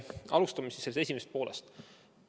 Alustame sellest esimesest poolest.